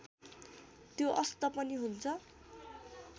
त्यो अस्त पनि हुन्छ